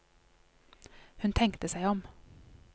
Hun tenkte seg om.